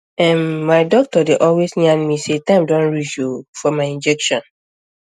ehnmy doctor dey always yan me say time don reach o o for my injection